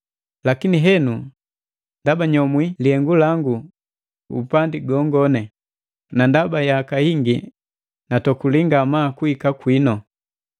Lakini henu, ndaba nyomwi lihengu langu upandi gongoni, na ndaba yaka yingi natokuli ngamaa kuhika kwinu,